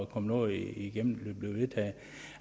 komme noget igennem